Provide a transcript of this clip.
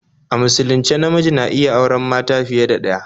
A musulunce namiji na iya auren mata fiye da ɗaya